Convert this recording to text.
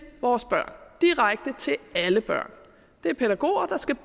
vores børn direkte til alle børn det er pædagoger der skal